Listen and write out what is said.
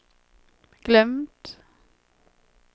glömt